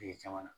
caman na